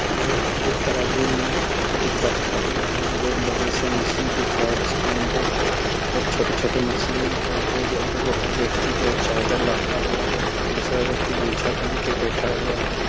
और एक तराजू मे कुछ बटखरे हैं एक बड़ी सी मछली दिख रहा हैं उसके अन्दर और छोटे-छोटे मछली हैं एक बूढ़ा व्यक्ति जो हैं चादर लपटा हुआ हैं दूसरा व्यक्ति गमछा पहन के बैठा हुआ हैं।